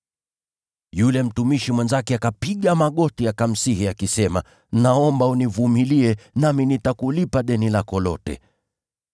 “Yule mtumishi mwenzake akapiga magoti akamsihi akisema, ‘Naomba univumilie, nami nitakulipa deni lako lote.’